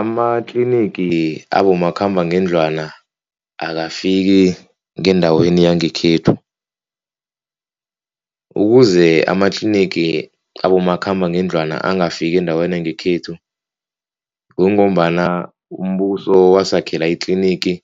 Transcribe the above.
Amatlinigi abomakhambangendlwana akafiki ngendaweni yangekhethu, ukuze amatlinigi abomakhambangendlwana angafiki endaweni yangekhethu kungombana umbuso wasakhela itlinigi